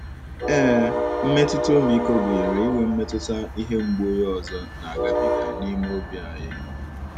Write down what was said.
Ee, mmetụta ọmịiko gụnyere inwe mmetụta ihe mgbu onye ọzọ na - agabiga n'ime obi anyi.